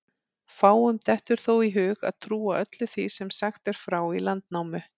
Fáum dettur þó í hug að trúa öllu því sem sagt er frá í Landnámu.